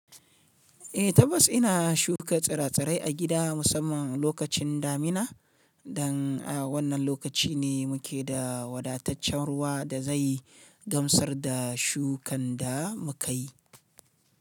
Eh tabbas ina shuka tsire-tsire a gida musamman lokacin damina dan a wannan lokaci ne muke da wadataccen ruwa da zai gamsar da shukan da muka yi.